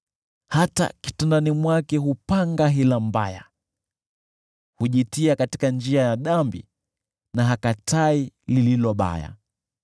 Hata kitandani mwake hupanga hila mbaya, hujitia katika njia ya dhambi na hakatai lililo baya.